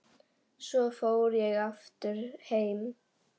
Svo fór ég aftur heim.